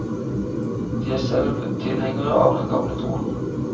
De er selv tilhengere av den gamle troen.